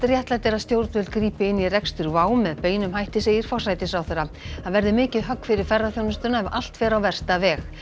réttlætir að stjórnvöld grípi inn í rekstur WOW með beinum hætti segir forsætisráðherra það verði mikið högg fyrir ferðaþjónustuna ef allt fer á versta veg